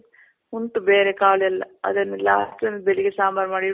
ಉಂಟು ಬೇರೆ ಕಾಳೆಲ್ಲ. ಅದನ್ನೆಲ್ಲ ಹಾಕಿ ಬೆಳಿಗ್ಗೆ ಸಾಂಬಾರ್ ಮಾಡಿ